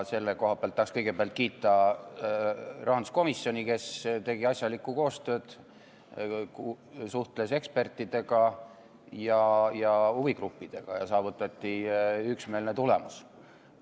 Selle koha pealt tahaks kõigepealt kiita rahanduskomisjoni, kes tegi asjalikku koostööd, suhtles ekspertide ja huvigruppidega ja saavutati üksmeelne tulemus.